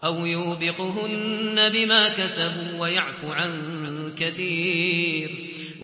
أَوْ يُوبِقْهُنَّ بِمَا كَسَبُوا وَيَعْفُ عَن كَثِيرٍ